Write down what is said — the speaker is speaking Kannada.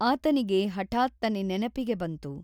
ಆತನಿಗೆ ಹಠಾತ್ತನೇ ನೆನಪಿಗೆ ಬಂತು.